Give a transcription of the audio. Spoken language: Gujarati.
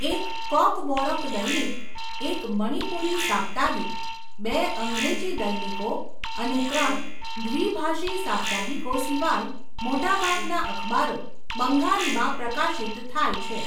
એક કોકબોરોક દૈનિક, એક મણિપુરી સાપ્તાહિક, બે અંગ્રેજી દૈનિકો અને ત્રણ દ્વિભાષી સાપ્તાહિકો સિવાય મોટાભાગના અખબારો બંગાળીમાં પ્રકાશિત થાય છે.